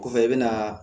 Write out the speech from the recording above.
Kɔfɛ i bɛna